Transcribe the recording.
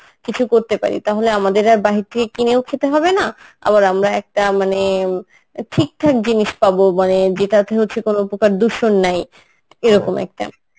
কিছু করতে পারি তাহলে আমাদের আর বাহির কিনেও খেতে হবে না আবার আমরা একটা মানে ঠিকঠাক জিনিষ পাবো মানে যেটাতে হচ্ছে কোন প্রকার দূষণ নাই এরকম একটা